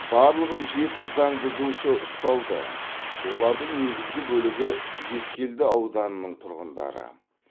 барлығы жеті заң бұзушы ұсталды олардың негізгі бөлігі ескелді ауданының тұрғындары